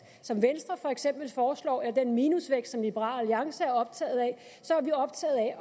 som venstre for eksempel foreslår eller den minusvækst som liberal alliance er optaget af